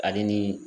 Ale ni